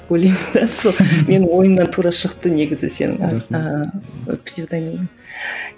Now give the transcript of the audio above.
ойлаймын да сол менің ойымнан тура шықты негізі сенің псевдонимің